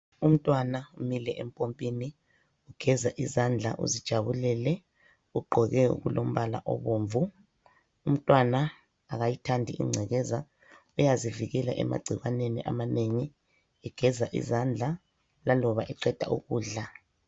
Umntwana umile empompini ugeza izandla uzijabulele ugqoke okulombala obomvu, umntwana akayithandi ingcekeza uyazivikela emagcikwaneni amanengi egeza izandla laloba eqeda ukudla.